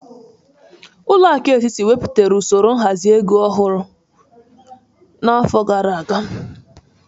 Ụlọakụ etiti nwepụtara osoro nhazi ego ọhụrụ n'afọ gara aga.